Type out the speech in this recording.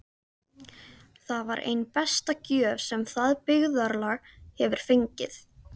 Það var ein besta gjöf sem það byggðarlag hefur fengið.